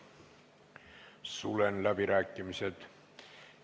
Sulen läbirääkimised.